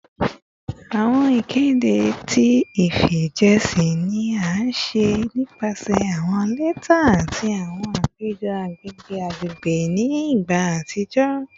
Awọn ikede ti ifijiṣẹ ni a ṣe nipasẹ awọn lẹta ati awọn apejọ agbegbe agbegbe ni igba atijọ